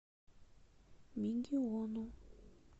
мегиону